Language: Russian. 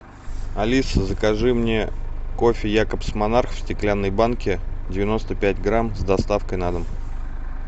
алиса закажи мне кофе якобс монарх в стеклянной банке девяносто пять грамм с доставкой на дом